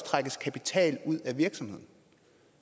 trækkes kapital ud af virksomheden